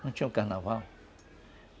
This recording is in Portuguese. Não tinha o carnaval?